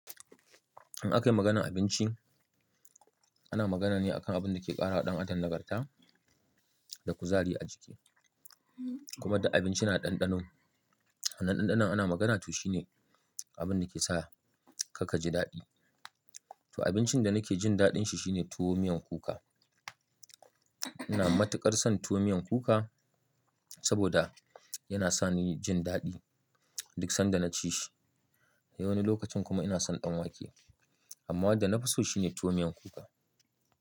In aka yi maganar abinci, ana magana ne akan abin da ke ƙara ɗan atar nagarta da kuzari a jiki. Kuma da abinci na ɗanɗano. Hannun ɗanɗano ana magana to shine abin da ke sa ka kaji daɗi. To abincin da nake jin daɗin shi shine tuwo miyan kuka. Ina matuƙar son tuwo miyan kuka saboda yana sa ni jin daɗi duk sanda na ci shi. A wani lokacin kuma ina son ɗan wake amma wanda na fi so shi ne tuwo miyan kuka.